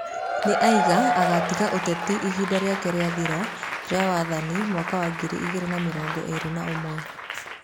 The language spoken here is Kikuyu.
Nĩ aiga agatiga ũteti ihinda rĩake rĩathira rĩa wathani mwaka wa ngiri igĩrĩ na mĩrongo ĩrĩ na ũmwe.